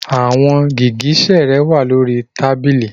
Your high heels are on the table